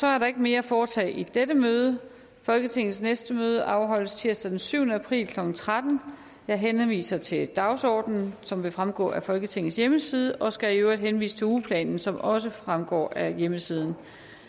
er ikke mere at foretage i dette møde folketingets næste møde afholdes tirsdag den syvende april klokken tretten jeg henviser til dagsordenen som vil fremgå af folketingets hjemmeside og skal i øvrigt henvise til ugeplanen som også fremgår af hjemmesiden